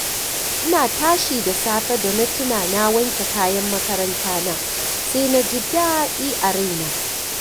Ina tashi da safe da na tuna na wanke kayan makarantana, sai na ji daɗi a raina